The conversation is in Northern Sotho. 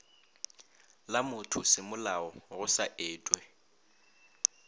la mothosemolao go sa etwe